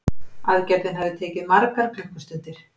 Aðgerðin hafi tekið margar klukkustundir